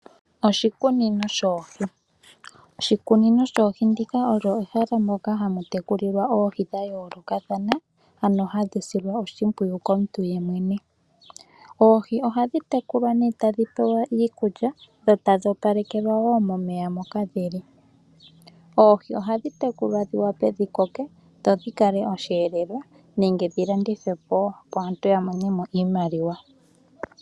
Oshikunino shoohi. Oshikunino shoohi ndika olyo ehala moka hamu tekulilwa oohi dha yoolokathana, ano hadhi silwa oshimpwuyu komuntu ye mwene. Oohi ohadhi tekulwa nee tadhi pewa iikulya dho tadhi opalekelwa woo momeya moka dhili. Oohi ohadhi tekulwa dhi wape dhikoke dho dhi kale osheelelwa nenge dhi landithwe po woo, opo aantu ya mone mo iimaliwa.